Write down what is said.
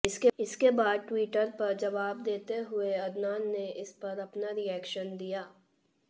इसके बाद ट्विटर पर जवाब देते हुए अदनान ने इस पर अपना रिएक्शन दिया